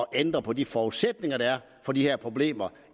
at ændre på de forudsætninger der er for de her problemer